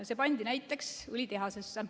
See pandi näiteks õlitehasesse.